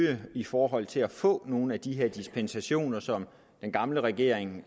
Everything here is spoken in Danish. det i forhold til at få nogle af de her dispensationer som den gamle regering